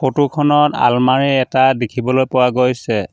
Photo খনত আলমৰি এটা দেখিবলৈ পোৱা গৈছে।